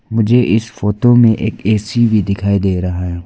मुझे इस फोटो में एक ए_सी भी दिखाई दे रहा है।